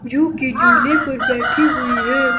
जो कि झुले पर बैठी हुई है।